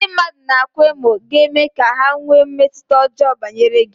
Ndị mmadụ na-akwa emo ga-eme ka ha nwee mmetụta ọjọọ banyere gị.